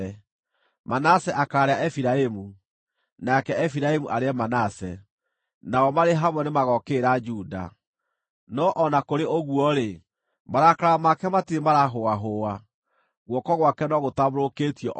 Manase akaarĩa Efiraimu, nake Efiraimu arĩe Manase: nao marĩ hamwe nĩmagookĩrĩra Juda. No o na kũrĩ ũguo-rĩ, marakara make matirĩ maraahũahũa, guoko gwake no gũtambũrũkĩtio o na rĩu.